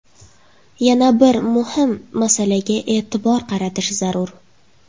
Yana bir muhim masalaga e’tibor qaratish zarur.